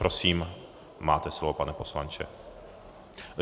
Prosím, máte slovo, pane poslanče.